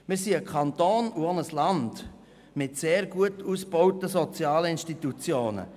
Wir sind ein Kanton und auch ein Land mit sehr gut ausgebauten sozialen Institutionen.